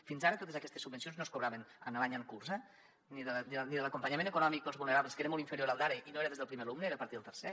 fins ara totes aquestes subvencions no es cobraven en l’any en curs eh ni l’acompanyament econòmic per als vulnerables que era molt inferior al d’ara i no era des del primer alumne era a partir del tercer